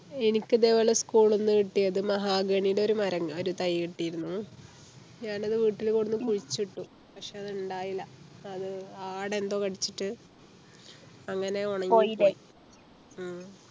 എനിക്ക് ഇതെ പോലെ school ന്നു കിട്ടിയത് മഹാഗണിയുടെ ഒരു മര ഒരു തൈ കിട്ടിയിരുന്നു ഞാനത് വീട്ടിൽ കൊണ്ട് കുഴിച്ചിട്ടു പക്ഷേ അത് ഉണ്ടായില്ല അത് ആട് എന്തോ കടിച്ചിട്ട് അങ്ങനെ ഉണങ്ങിപ്പോയി ഉം